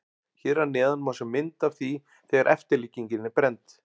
Hér að neðan má sjá mynd af því þegar eftirlíkingin er brennd.